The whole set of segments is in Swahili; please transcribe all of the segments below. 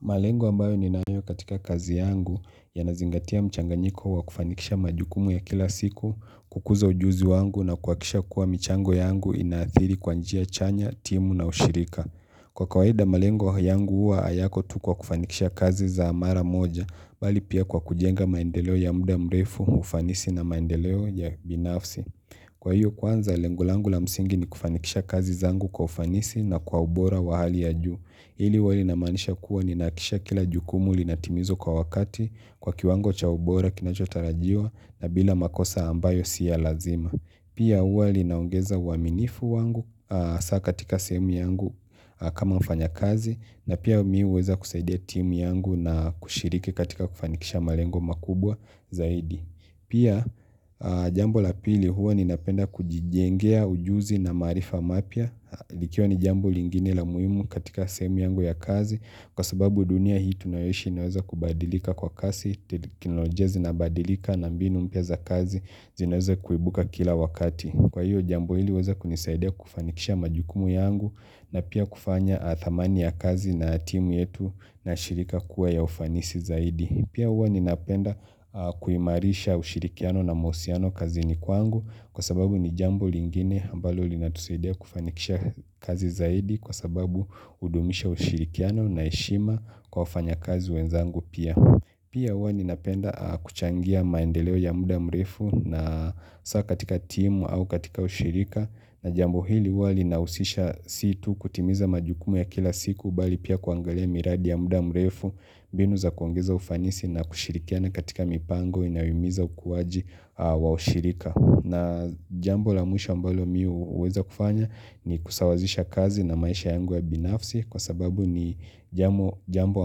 Malengo ambayo ninayo katika kazi yangu yanazingatia mchanganyiko wa kufanikisha majukumu ya kila siku, kukuza ujuzi wangu na kuhakisha kuwa michango yangu inaathiri kwa njia chanya, timu na ushirika. Kwa kawaida malengo yangu huwa hayako tu kwa kufanikisha kazi za mara moja, bali pia kwa kujenga maendeleo ya muda mrefu, ufanisi na maendeleo ya binafsi. Kwa hiyo kwanza lengo langu la msingi ni kufanikisha kazi zangu kwa ufanisi na kwa ubora wa hali ya juu. Hili huwa linamaanisha kuwa ninahakikisha kila jukumu linatimizwa kwa wakati kwa kiwango cha ubora kinachotarajiwa na bila makosa ambayo si ya lazima. Pia huwa linaongeza uaminifu wangu hasa katika sehemu yangu kama mfanya kazi na pia mimi huweza kusaidia timu yangu na kushiriki katika kufanikisha malengo makubwa zaidi. Pia jambo la pili huwa ninapenda kujijengea ujuzi na maarifa mapya likiwa ni jambo lingine la muhimu katika sehemu yangu ya kazi Kwa sababu dunia hii tunayoishi inaweza kubadilika kwa kasi teknolojia zina badilika na mbinu mpya za kazi zinaweza kuibuka kila wakati Kwa hivyo jambo hili huweza kunisaidia kufanikisha majukumu yangu na pia kufanya thamani ya kazi na timu yetu na shirika kuwa ya ufanisi zaidi Pia huwa ninapenda kuimarisha ushirikiano na mahusiano kazini kwangu kwa sababu ni jambo lingine ambalo linatusaidia kufanikisha kazi zaidi kwa sababu hudumisha ushirikiano na heshima kwa wafanyakazi wenzangu pia. Pia huwa ninapenda kuchangia maendeleo ya muda mrefu na hasa katika timu au katika ushirika na jambo hili huwa linahusisha si tu kutimiza majukumu ya kila siku mbali pia kuangalia miradi ya muda mrefu mbinu za kuongeza ufanisi na kushirikiana katika mipango inayohimiza ukuaji wa ushirika. Na jambo la mwisho ambalo mimi huweza kufanya ni kusawazisha kazi na maisha yangu ya binafsi kwa sababu ni jambo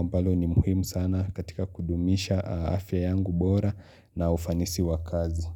ambalo ni muhimu sana katika kudumisha afya yangu bora na ufanisi wa kazi.